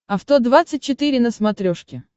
авто двадцать четыре на смотрешке